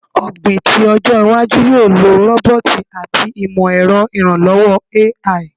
Ogbin ti ojo iwaju yoo lo roboti ati imọ-ẹrọ iranlọwọ AI